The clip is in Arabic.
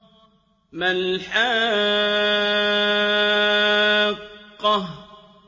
مَا الْحَاقَّةُ